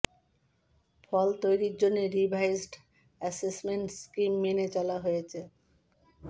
ফল তৈরির জন্য revised assessment scheme মেনে চলা হয়েছে